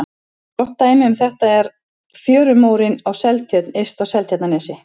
Gott dæmi um þetta er fjörumórinn í Seltjörn yst á Seltjarnarnesi.